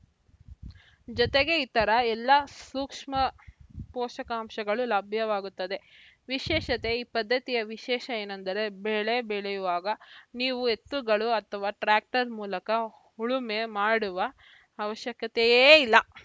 ಜೊತೆಗೆ ಇತರ ಎಲ್ಲ ಸೂಕ್ಷ್ಮ ಪೋಷಕಾಂಶಗಳು ಲಭ್ಯವಾಗುತ್ತವೆ ವಿಶೇಷತೆ ಈ ಪದ್ಧತಿಯ ವಿಶೇಷ ಏನೆಂದರೆ ಬೆಳೆ ಬೆಳೆಯುವಾಗ ನೀವು ಎತ್ತುಗಳ ಅಥವಾ ಟ್ರ್ಯಾಕ್ಟರ್‌ ಮೂಲಕ ಉಳುಮೆ ಮಾಡುವ ಅವಶ್ಯಕತೆಯೇ ಇಲ್ಲ